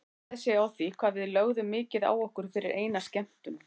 Það undraði sig á því hvað við lögðum mikið á okkur fyrir eina skemmtun.